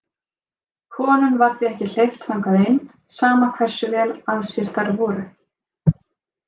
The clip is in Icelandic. Konum var því ekki hleypt þangað inn, sama hversu vel að sér þær voru.